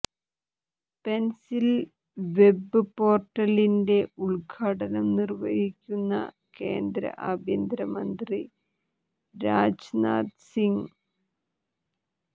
pencil web പോർട്ടലിന്റെ ഉദ്ഘാടനം നിർവഹിക്കുന്ന കേന്ദ്ര ആഭ്യന്തരമന്ത്രി രാജ്നാഥ് സിങ്